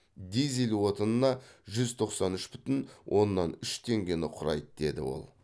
дизель отынына жүз тоқсан үш бүтін оннан үш теңгені құрайды деді ол